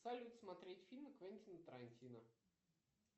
салют смотреть фильмы квентина тарантино